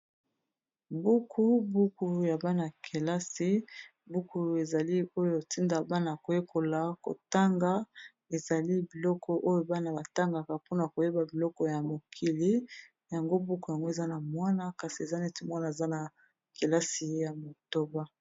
buku buku ya bana ya kelasi buku ezali oyo etinda bana koyekola kotanga ezali biloko oyo bana batangaka mpona koyeba biloko ya mokili yango buku yango eza na mwana kasi eza neti mwana aza na kelasi ya motoba.